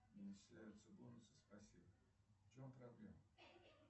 не начисляются бонусы спасибо в чем проблема